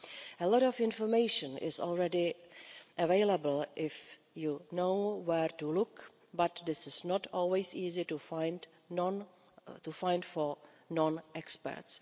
A lot of information is already available if you know where to look but this is not always easy to find for non experts.